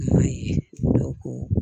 N'o ye